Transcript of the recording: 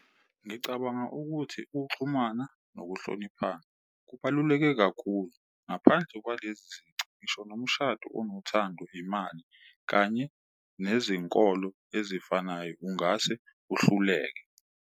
Ngicabanga ukuthi uxhumana nokuhloniphana kubaluleke kakhulu ngaphandle kwalezi zici ngisho nomshado onothando, imali kanye nezinkolo ezifanayo, ungase uhluleke.